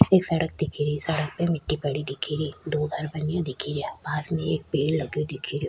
एक सड़क दिखे री सड़क पे मिट्टी पड़ी दिखे री दो घर बने दिखे रिया पास में एक पेड़ लग्यो दिखे रियो।